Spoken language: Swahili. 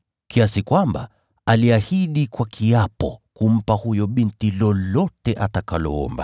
kiasi kwamba aliahidi kwa kiapo kumpa huyo binti chochote angeomba.